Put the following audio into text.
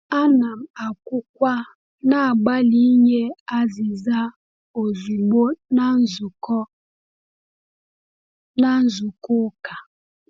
Ana m akwukwa na-agbalị inye azịza ozugbo na nzukọ na nzukọ ụka.